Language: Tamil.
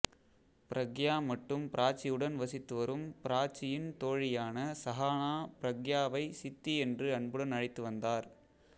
பிரக்யா மற்றும் பிராச்சியுடன் வசித்து வரும் பிராச்சியின் தோழியான சஹானா பிரக்யாவை சித்தி என்று அன்புடன் அழைத்து வந்தார்